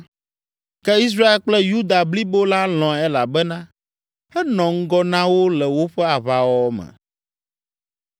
ke Israel kple Yuda blibo la lɔ̃e elabena enɔ ŋgɔ na wo le woƒe aʋawɔwɔ me.